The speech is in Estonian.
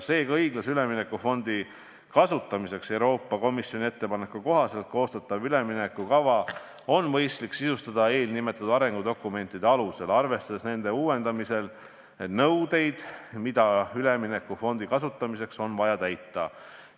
Seega on õiglase ülemineku fondi kasutamiseks Euroopa Komisjoni ettepaneku kohaselt koostatav üleminekukava mõistlik sisustada eelnimetatud arengudokumentide alusel, arvestades nende uuendamisel nõudeid, mis on üleminekufondi kasutamiseks vaja täita.